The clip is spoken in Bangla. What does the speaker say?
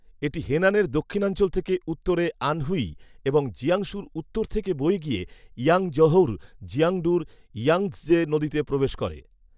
এটি হেনানের দক্ষিণাঞ্চল থেকে উত্তরে আনহুই এবং জিয়াংসুর উত্তর থেকে বয়ে গিয়ে ইয়াংজহৌর জিয়াংডুর ইয়াংৎজে নদীতে প্রবেশ করে